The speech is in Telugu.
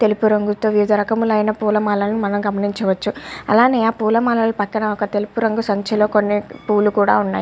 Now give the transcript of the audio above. తెలుపు రంగుతో వివిధ రకములైన పూలమాలను మనం గమనించవచ్చు. అలాగే ఆ పూల మాలలు పక్కన ఒక తెలుగు రంగు సంచిలో కొన్ని పూలు కూడా ఉన్నాయి.